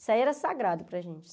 Isso aí era sagrado para gente.